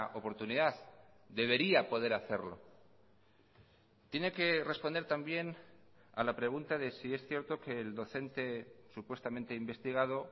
oportunidad debería poder hacerlo tiene que responder también a la pregunta de si es cierto que el docente supuestamente investigado